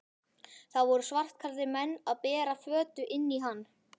Það voru svartklæddir menn að bera körfu inn í hann.